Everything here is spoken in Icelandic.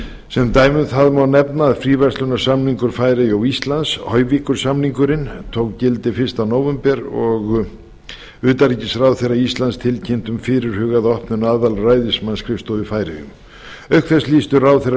sem dæmi um það má nefna að fríverslunarsamningur færeyja og íslands hoyvíkur samningurinn tók gildi fyrsta nóvember og utanríkisráðherra íslands tilkynnti um fyrirhugaða opnun aðalræðismannsskrifstofu í færeyjum auk þess lýstu ráðherrar